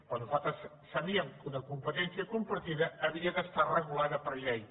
però nosaltres sabíem que una competència compartida havia d’estar regulada per llei